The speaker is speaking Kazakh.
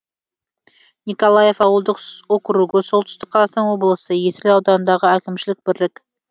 николаев ауылдық округі солтүстік қазақстан облысы есіл ауданындағы әкімшілік бірлік